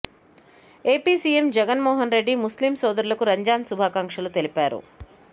AP CM Jagan Mohan Reddy ముస్లిం సోదరులకు రంజాన్ శుభాకాంక్షలు తెలిపారు